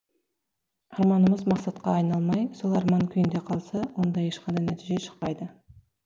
арманымыз мақсатқа айналмай сол арман күйінде қалса онда ешқандай нәтиже шықпайды